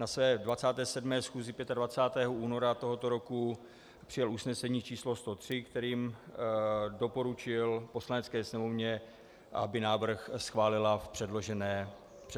Na své 27. schůzi 25. února tohoto roku přijal usnesení číslo 103, kterým doporučil Poslanecké sněmovně, aby návrh schválila v předloženém znění.